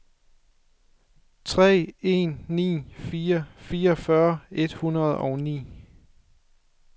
tre en ni fire fireogfyrre et hundrede og ni